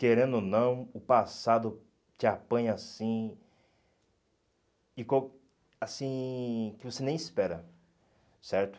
Querendo ou não, o passado te apanha assim, assim que você nem espera, certo?